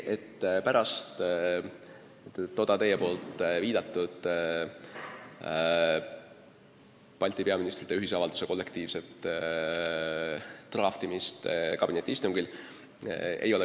Te viitasite Balti peaministrite ühisavalduse kollektiivsele draftimisele kabinetiistungil.